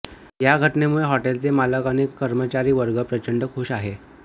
या घटनेमुळे हॉटेलचे मालक आणि कर्मचारी वर्ग प्रचंड खूष आहे